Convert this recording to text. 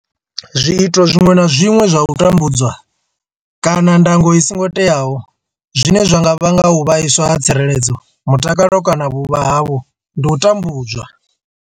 Zwiito zwiṅwe na zwiṅwe zwa u tambudzwa kana ndango i songo teaho zwine zwa nga vhanga u vhaiswa ha tsireledzo, mutakalo kana vhuvha havho ndi u tambudzwa.